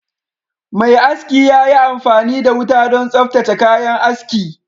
Mai aski ya yi amfani da wuta don tsaftace kayan aski